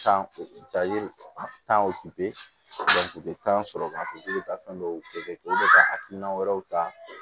Sanji tan o tan sɔrɔ ka fɔ k'i bɛ taa fɛn dɔw kɛ i bɛ ka hakilina wɛrɛw ta